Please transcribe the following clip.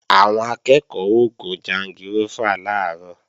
Àwọn akẹ́ẹ̀kọ́ ó gun jangirófà làárọ̀